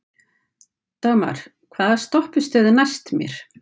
Dagmar, hvaða stoppistöð er næst mér?